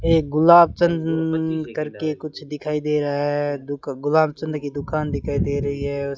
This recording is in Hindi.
एक गुलाब चंन्न करके कुछ दिखाई दे रहा है दुक गुलाब चंद की दुकान दिखाई दे रही है।